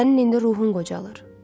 Sənin indi ruhun qocalır.